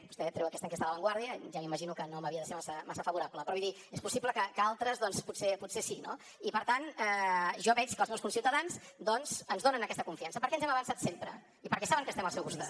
vostè treu aquesta enquesta de la vanguardia ja m’imagino que no m’havia de ser massa favorable però vull dir és possible que a altres doncs potser sí no i per tant jo veig que els meus conciutadans doncs ens donen aquesta confiança perquè ens hem avançat sempre i perquè saben que estem al seu costat